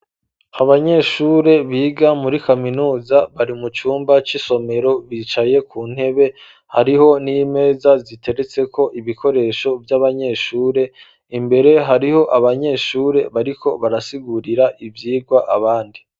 Abanyeshure biga muri kaminuza bari mu cumba cisomero bicaye ku ntebe hariho n'imeza ziteretse ko ibikoresho by'abanyeshure imbere hariho abanyeshuri bariko barasigurira ibyigwa abandi.